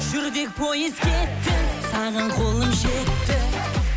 жүрдек пойыз кетті саған қолым жетті